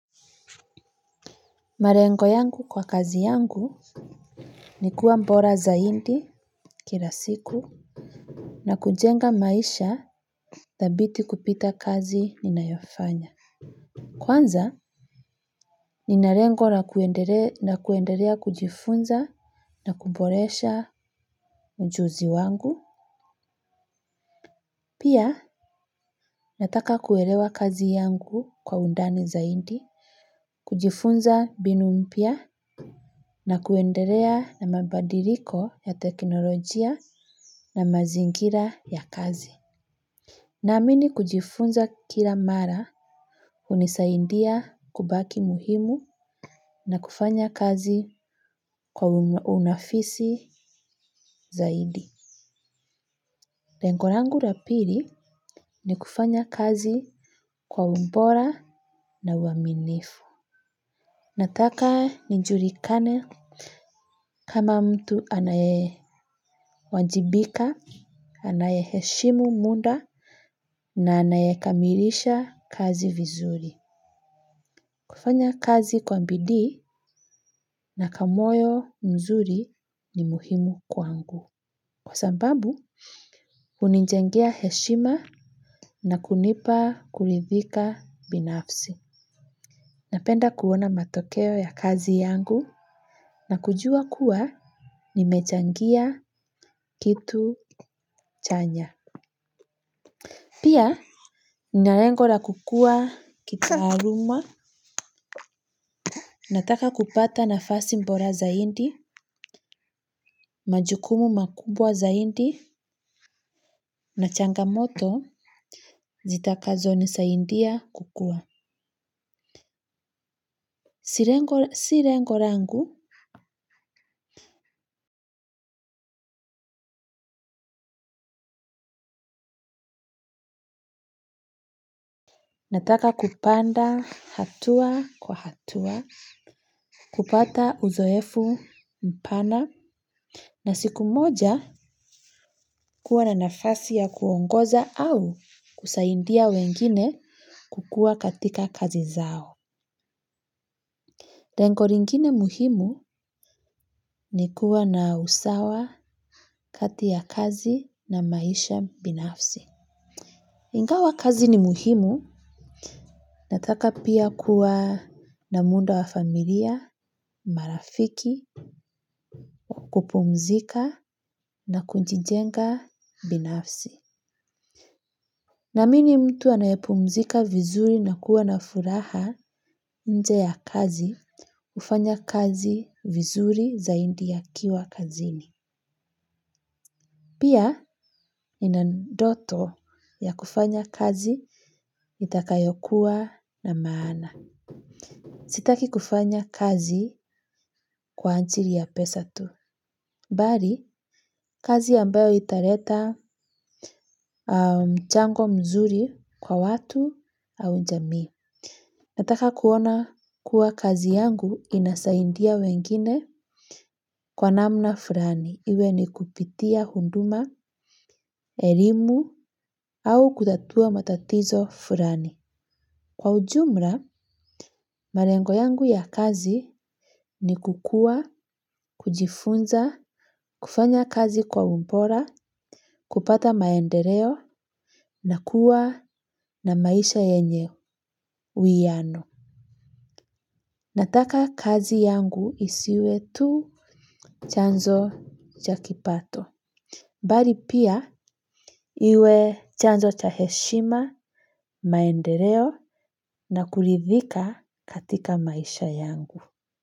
Malengo yangu kwa kazi yangu ni kuwa mbora zaidi kila siku. Na kujenga maisha thabiti kupita kazi ninayofanya. Kwanza nina lengo na kuendelea na kuendelea kujifunza na kuboresha ujuzi wangu. Pia nataka kuelewa kazi yangu kwa undani zaidi kujifunza mbinu mpya na kuendelea na mabadiliko ya teknolojia na mazingira ya kazi. Naamini kujifunza kila mara hunisaidia kubaki muhimu na kufanya kazi kwa unafisi zaidi. Lengo langu la pili ni kufanya kazi kwa ubora na uaminifu. Nataka nijulikane kama mtu anaye wajibika, anaye heshimu muda na anaye kamilisha kazi vizuri. Kufanya kazi kwa bidii na kamoyo mzuri ni muhimu kwangu. Kwa sababu, hunijengea heshima na kunipa kuridhika binafsi. Napenda kuona matokeo ya kazi yangu na kujua kuwa nimechangia kitu chanya. Pia nina lengo la kukua kitaaluma nataka kupata nafasi bora zaidi, majukumu makubwa zaidi na changamoto zitakazo nisaidia kukua. Si lengo langu nataka kupanda hatua kwa hatua, kupata uzoefu mpana na siku moja kuwa na nafasi ya kuongoza au kusaidia wengine kukuwa katika kazi zao. Lengo lingine muhimu ni kuwa na usawa kati ya kazi na maisha binafsi. Ingawa kazi ni muhimu, nataka pia kuwa na muda wa familia, marafiki, kupumzika na kujijenga binafsi. Naamini mtu anayepumzika vizuri na kuwa na furaha nje ya kazi, hufanya kazi vizuri zaidi akiwa kazini. Pia nina ndoto ya kufanya kazi itakayokuwa na maana. Sitaki kufanya kazi kwa ajili ya pesa tu. Bali, kazi ambayo italeta mchango mzuri kwa watu au jamii. Nataka kuona kuwa kazi yangu inasaidia wengine kwa namna fulani. Iwe ni kupitia huduma, elimu au kutatua matatizo fulani. Kwa ujumla, malengo yangu ya kazi ni kukua, kujifunza, kufanya kazi kwa ubora, kupata maendeleo na kuwa na maisha yenye uwiano. Nataka kazi yangu isiwe tu chanzo cha kipato. Bali pia iwe chanzo cha heshima, maendeleo na kuridhika katika maisha yangu.